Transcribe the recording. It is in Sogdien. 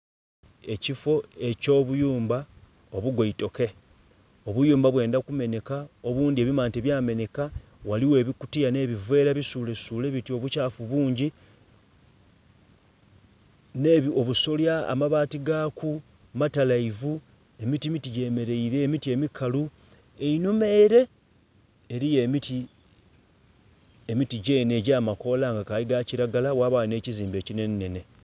Ekifo ekyo buyumba obugoitoke. Obuyumba bwenda kumeneka obundi ebimante bya meneka, waliyo ebikutiya no buveera bisulesule bityo obukyafu bungi ne kubusolya amabaati gakku matalaivu. Emiti miti gyemeleire, emiti mikalu. Einhuma ere eriyo emiti, emiti gyene egyamakola gakali gakilagala wabawo ne ekizimbe kinene nene